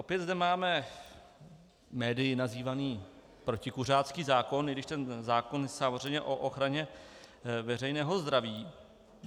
Opět zde máme médii nazývaný protikuřácký zákon, i když ten zákon je samozřejmě o ochraně veřejného zdraví.